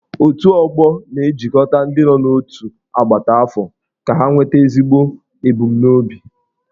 Otù ọgbọ na-ejikọta ndị nọ n'otu agbata afọ ka ha nweta ezigbo ebumnobi.